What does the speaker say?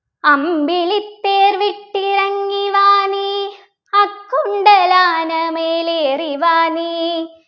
അമ്പിളിത്തേർ വിട്ടിറങ്ങിവാ നീ അക്കൊണ്ടൽ ആനമേൽ ഏറിവാ നീ